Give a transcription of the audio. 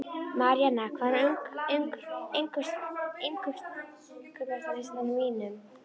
Marína, hvað er á innkaupalistanum mínum?